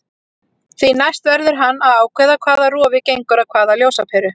Því næst verður hann að ákveða hvaða rofi gengur að hvaða ljósaperu.